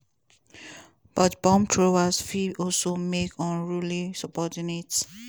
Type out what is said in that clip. but bomb-throwers fit also make unruly subordinates.